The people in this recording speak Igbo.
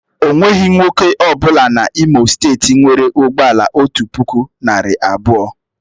O nweghị nwoke ọ bụla N'Imo steeti nwere ụgbọ ala otu puku, narị abụọ.